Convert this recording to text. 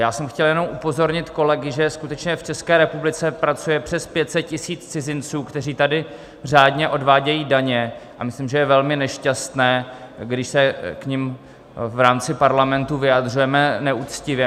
Já jsem chtěl jenom upozornit kolegy, že skutečně v České republice pracuje přes 500 000 cizinců, kteří tady řádně odvádějí daně, a myslím, že je velmi nešťastné, když se k nim v rámci Parlamentu vyjadřujeme neuctivě.